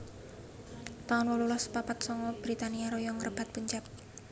taun wolulas papat sanga Britania Raya ngrebat Punjab